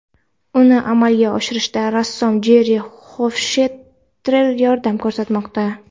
Uni amalga oshirishda rassom Jerri Xofshtetter yordam ko‘rsatmoqda.